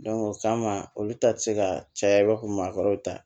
o kama olu ta ti se ka caya i b'a fɔ maakɔrɔw ta